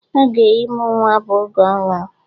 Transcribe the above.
Oge ịmụ nwa bụ oge ọṅụ